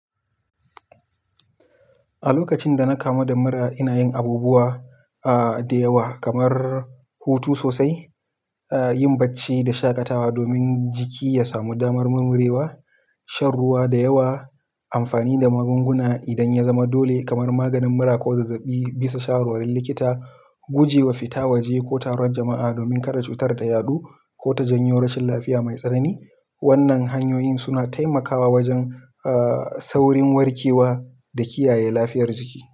A lokacin da na kamu da mura, ina yin abubuwa, ah, da yawa, kamar hutu sosai, ah, yin bacci da shaƙatawa domin jiki ya samu damar murmurewa, shan ruwa da yawa, amfani da magunguna idan ya zama dole, kamar maganin mura ko zazzaɓi bisa shawarar likita, guje wa fita waje ko taruwar jama'a domin kada cutar ta yaɗu, ko ta janyo rashin lafiya mai tsanani. Wannan hanyoyin suna taimakawa wajen, aaah, saurin warke wa da kiyaye lafiyar jiki.